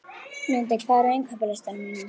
Lundi, hvað er á innkaupalistanum mínum?